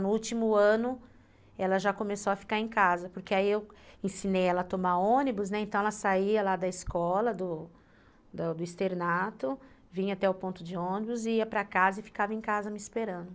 No último ano, ela já começou a ficar em casa, porque aí eu ensinei ela a tomar ônibus, né, então ela saía lá da escola, do externato, vinha até o ponto de ônibus, ia para casa e ficava em casa me esperando.